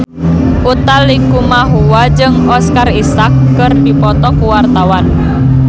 Utha Likumahua jeung Oscar Isaac keur dipoto ku wartawan